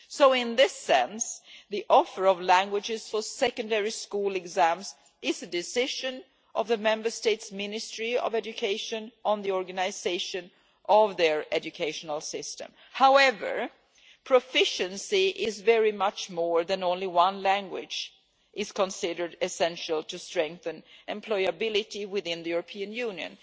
So in this sense, the offer of languages for secondary school exams is the decision of the Member State's Ministry of Education on the organisation of their educational system. However, proficiency in very much more than only one language is considered essential to strengthen employability within the European Union.